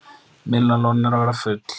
Miðlunarlónin eru að verða full